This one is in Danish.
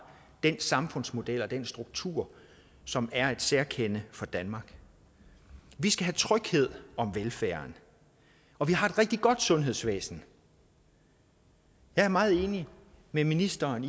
den samfundsmodel og den struktur som er et særkende for danmark vi skal have tryghed om velfærden og vi har et rigtig godt sundhedsvæsen jeg er meget enig med ministeren